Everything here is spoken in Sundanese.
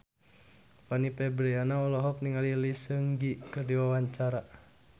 Fanny Fabriana olohok ningali Lee Seung Gi keur diwawancara